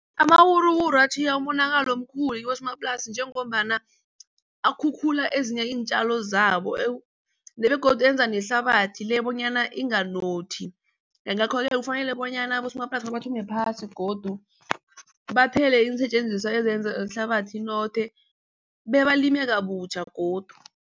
Amawuruwuru atjhiya umonakalo omkhulu kibosomaplasi njengombana akhukhula ezinye iintjalo zabo begodu enza nehlabathi le bonyana inganothi. Ngakho-ke kufanele bonyana abosomaplasi bathome phasi godu bathele iinsetjenziswa ezenza ihlabathi inothe bebalime kabutjha godu.